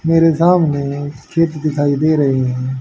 मेरे सामने चित्र दिखाई दे रही है।